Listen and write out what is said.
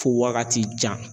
Fo wagati jan